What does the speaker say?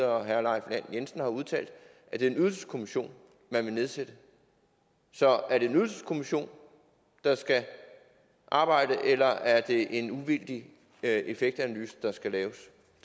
og herre leif lahn jensen har udtalt at det er en ydelseskommission man vil nedsætte så er det en ydelseskommission der skal arbejde eller er det en uvildig effektanalyse der skal laves